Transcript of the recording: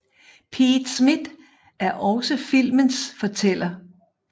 Pete Smith er også filmens fortæller